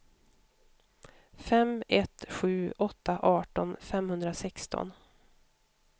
fem ett sju åtta arton femhundrasexton